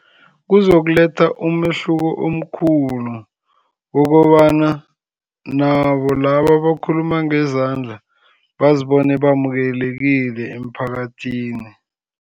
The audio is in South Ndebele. Kuzokuletha umehluko omkhulu, ngokobana nabo laba abakhuluma ngezandla bazibone bamukelekile emphakathini.